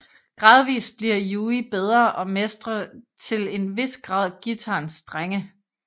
Gradvist bliver Yui bedre og mestrer til en hvis grad guitarens strenge